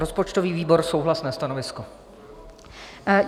Rozpočtový výbor - souhlasné stanovisko.